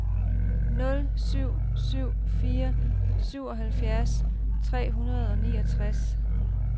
nul syv syv fire syvoghalvfems tre hundrede og niogtres